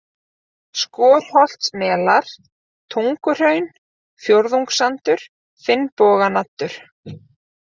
Skorholtsmelar, Tunguhraun, Fjórðungssandur, Finnboganaddur